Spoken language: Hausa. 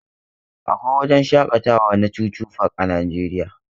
Akwai wajen shakatawa na chuchu park a najeriya.